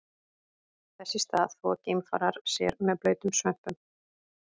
Þess í stað þvo geimfarar sér með blautum svömpum.